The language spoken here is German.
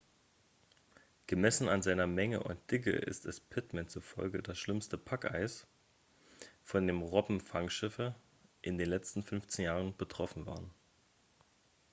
gemessen an seiner menge und dicke ist es pittman zufolge das schlimmste packeis von dem robbenfangschiffe in den letzten 15 jahren betroffen waren